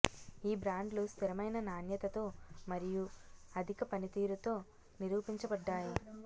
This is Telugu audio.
ఈ బ్రాండ్లు స్థిరమైన నాణ్యతతో మరియు అధిక పనితీరుతో నిరూపించబడ్డాయి